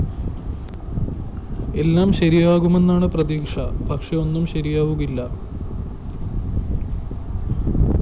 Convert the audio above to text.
എല്ലാം ശരിയാകുമെന്നാണ് പ്രതീക്ഷ പക്ഷെ ഒന്നും ശരിയാവുകയില്ല